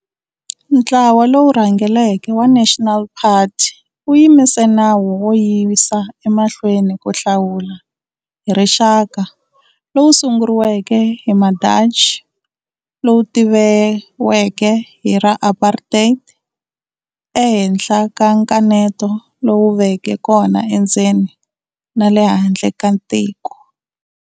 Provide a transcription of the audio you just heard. Ntlawa lowu rhangeleke wa National Party wu yimise nawu wo yisa emahlweni ku hlawula hi rixaka lowu sunguriweke hi ma Dachi lowu tiviweke hi ra"apartheid", e henhla ka nkaneto lowu veke kona endzeni na le handle ka tiko.